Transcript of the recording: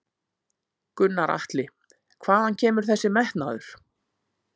Gunnar Atli: Hvaðan kemur þessi metnaður?